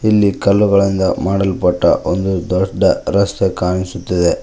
ಇಲ್ಲಿ ಕಲ್ಲುಗಳಿಂದ ಮಾಡಲ್ಪಟ್ಟ ಒಂದು ದೊಡ್ಡ ರಸ್ತೆ ಕಾಣಿಸುತ್ತಿದೆ.